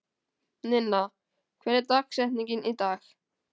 Ninna, hver er dagsetningin í dag?